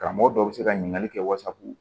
Karamɔgɔ dɔw bɛ se ka ɲininkali kɛ wasapu